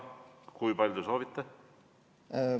Kui palju te soovite?